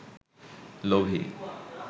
লোভী